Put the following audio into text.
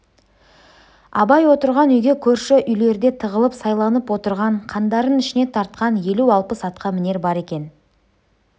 абай отырған үйге көрші үйлерде тығылып сайланып отырған қандарын ішіне тартқан елу-алпыс атқамінер бар екен